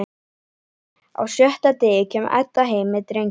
Á sjötta degi kemur Edda heim með drenginn.